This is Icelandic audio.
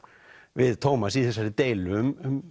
við Tómas í þessari deilu um